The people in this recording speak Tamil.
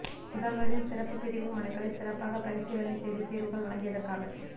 முதல்வரின் சிறப்பு பிரிவு மனுக்களை சிறப்பாக பரிசீலனை செய்து தீர்வுகள் வழங்கியதற்காக